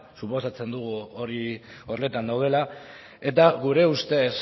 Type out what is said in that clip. suposatzen dugu horretan daudela eta gure ustez